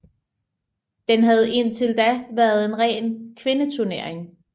Den havde indtil da været en ren kvindeturnering